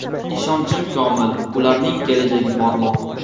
Ishonchim komil, ularning kelajagi porloq.